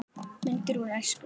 Myndir úr æsku.